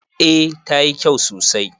A tayi kyau sosai